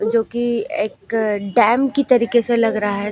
जो की एक डैम की तरीके से लग रहा है।